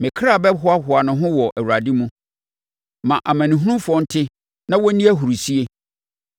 Me kra bɛhoahoa ne ho wɔ Awurade mu; ma amanehunufoɔ nte na wɔn nni ahurisie.